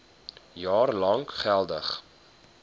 jaar lank geldig